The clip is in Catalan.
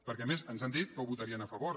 perquè a més ens han dit que hi votarien a favor